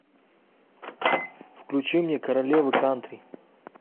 включи мне королева кантри